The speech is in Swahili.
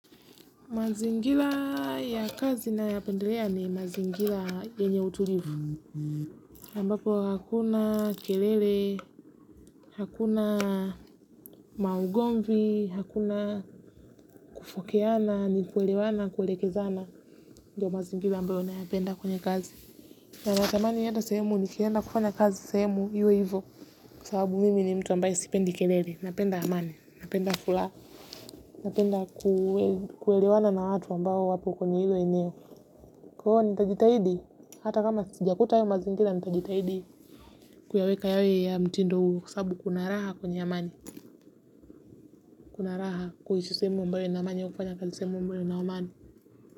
Mazingila ya kazi nayoyapendelea ni mazingila yenye utulivu. Mbapo hakuna kelele, hakuna maugomvi, hakuna kufokeana ni kuelewana kuwelekezana. Ndiyo mazingila ambayo nayapenda kwenye kazi. Na natamani yenda sahemu ni kienda kufanya kazi sehemu iwe hivo. Kwa sababu mimi ni mtu ambaye sipendi kelele. Napenda amani napenda fulaha. Napenda kuelewana na watu ambao wapo kwenye hilo eneo. Kwa huu nitajitahidi, hata kama sijakuta ayo mazingila nitajitahidi kuyaweka yawe ya mtindo huu kwa sababu kuna laha kwenya amani. Kunaraha kuhishi sehemu ambayo ina amani au kufanya kazi sehemu ambayo ina amani.